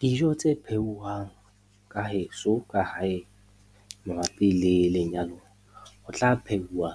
Dijo tse pheuwang ka heso ka hae mabapi le lenyalo, ho tla phehuwa